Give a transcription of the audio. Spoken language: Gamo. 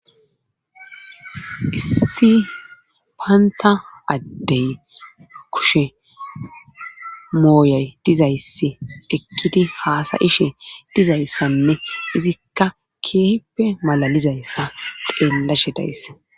issi paantha addey kushe mooyay dizayssi ekkiti haasayishe dizayssanne izikka keeppe malalizayssa xeellashe days